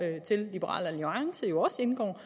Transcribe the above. liberal alliance jo også indgår